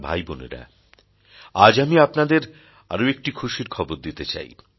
আমার ভাই বোনেরা আজ আমি আপনাদের আরও একটি খুশির খবর দিতে চাই